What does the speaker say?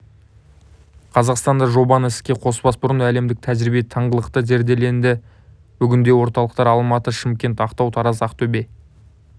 қазақстанда жобаны іске қоспас бұрын әлемдік тәжірибе тыңғылықты зерделенді бүгінде орталықтар алматы шымкент ақтау тараз ақтөбе